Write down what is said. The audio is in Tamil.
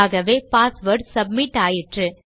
ஆகவே பாஸ்வேர்ட் சப்மிட் ஆயிற்று